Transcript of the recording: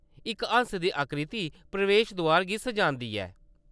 इक हैंस्स दी आकृति प्रवेश दोआर गी सजांदी ऐ।